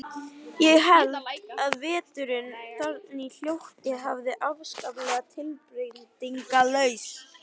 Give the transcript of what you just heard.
Ég held að veturnir þarna hljóti að vera afskaplega tilbreytingarlausir.